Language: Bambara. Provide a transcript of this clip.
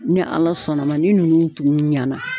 Ni ala sɔnna ma ni nunnu tun ɲɛna